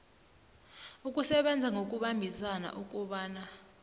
ukusebenza ngokubambisana ukobana